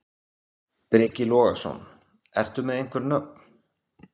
Breki Logason: Ertu með einhver nöfn?